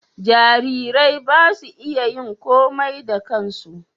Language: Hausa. jararai ba su iya yin komai da kansu